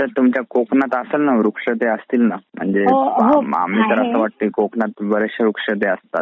आता तुमच्या कोकणात असेल ना वृक्ष ते असतील ना म्हणजे कोकणात बरेचशे वृक्ष असतात.